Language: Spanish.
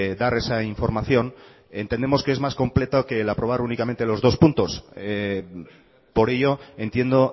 dar esa información entendemos que es más completo que el aprobar únicamente los dos puntos por ello entiendo